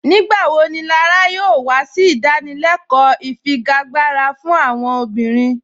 Nígbàwọ́ ní Lárà yóò wà sí ìdánìlẹ̀kọ́ ìfíágbarà fún àwọn obìnrin?